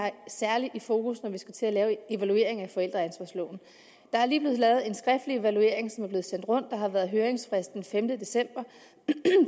særlig fokus på når vi skal til at lave en evaluering af forældreansvarsloven der er lige blevet lavet en skriftlig evaluering som er blevet sendt rundt og der har været høringsfrist den femte december